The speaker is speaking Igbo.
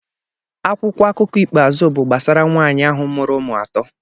Akwụkwọ akụkọ ikpeazụ bụ gbasara nwanyị ahụ mụrụ ụmụ atọ